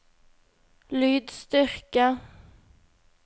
lydstyrke